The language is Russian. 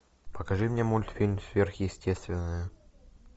покажи мне мультфильм сверхъестественное